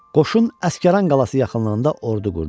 Qoşun Əsgəran qalası yaxınlığında ordu qurdu.